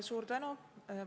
Suur tänu!